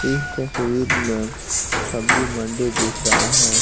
इस तस्वीर में सब्जी मंडी दिख रहा है।